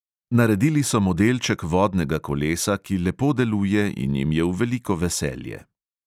Naredili so modelček vodnega kolesa, ki lepo deluje in jim je v veliko veselje.